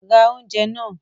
Ra oúnjẹ náà!